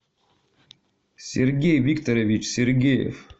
сергей викторович сергеев